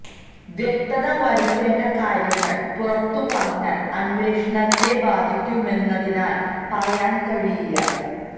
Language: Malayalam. വ്യക്തത വരുത്തേണ്ട കാര്യങ്ങൾ പുറത്തു പറഞ്ഞാൽ അന്വേഷണത്തെ ബാധിക്കുമെന്നതിനാൽ പറയാൻ കഴിയില്ല